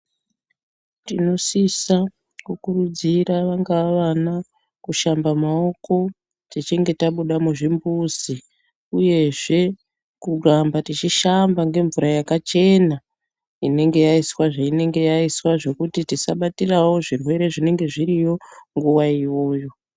Tinosisa kukuridzira vangava vana kushamba maoko techinge tabuda muzvimbuzi uyezve kuramba tichishamba ngemvura yakachena inenge yaiswa zvekuti tisabatira zvirwere zvinonga zviriyo nguwa iyoyo.